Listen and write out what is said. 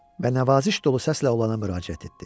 Və nəvaziş dolu səslə olana müraciət etdi.